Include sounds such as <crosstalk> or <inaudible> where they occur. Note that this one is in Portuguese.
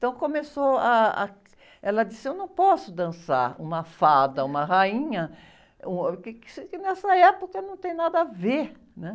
Então, começou ah, ah... Ela disse, eu não posso dançar uma fada, uma rainha, um <unintelligible> porque nessa época não tem nada a ver, né?